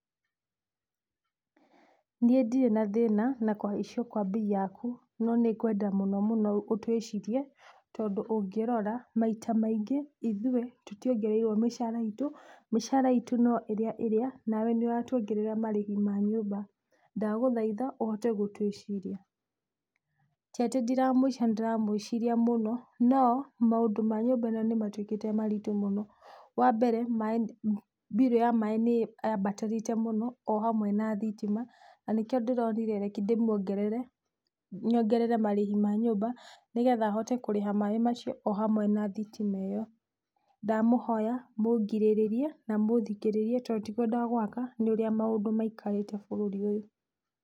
Niĩ ndire na thĩna na kũhaicio kwa bei yaku no nĩngwenda mũno mũno ũtũĩcirie tondũ ũngĩrora maita maingĩ ithũi tũtiongereirwo mĩcara itũmĩcara itũ, mĩcara itũ no ĩrĩa ĩrĩa na wee nĩũratuongerera marĩhi ma nyũmba ndagũthaitha ũhote gũtũĩciria. Tiatĩ ndiramũĩciria nĩndĩramũĩciria mũno, no maũndũ ma nyũmba ĩno nĩmatũĩkĩte maritũ mũno, wambere biru ya maaĩ o hamwe na thitima, nĩyambatĩrĩte mũno na nĩkio ndĩronire reki ndĩmuongerere marĩhi ma nyũmba nĩgetha hote kũrĩha maaĩ macio ohamwe na thitima ĩyo. Ndamũhoya mũngirĩrĩrie na mũthikĩrĩrie tondũ ti kwenda gwaka nĩũria maũndũ maikarĩte bũrũri ũyũ.